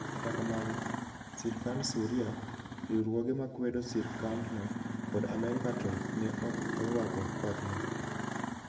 Kata kamano, sirkand Suria, riwruoge makwedo sirkandno, kod Amerka to ne ok orwako wachno.